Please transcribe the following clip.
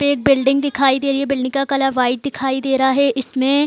पे बिल्डिंग दिखाई दे रही है | बिल्डिंग कलर व्हाइट दिखाई दे रहा है इसमें --